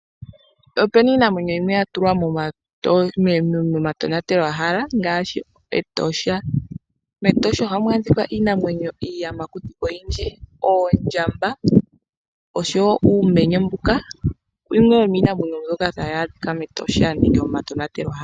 Ope na iinamwenyo yimwe ya tulwa momatonatelwahala ngaashi Etosha. MEtosha ohamu adhika iiyamakuti oyindji ngaashi: oondjamba, oonkoshi nosho wo uumenye, ano oyo yimwe yomiinamwenyo mbyoka tayi adhika mEtosha nenge momatonatelwahala.